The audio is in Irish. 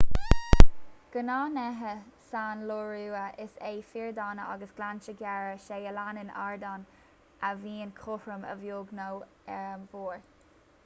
gnáthghnéithe san iorua is ea fiordanna agus gleannta géara as a leanann ardán ard a bhíonn cothrom a bheag nó a mhór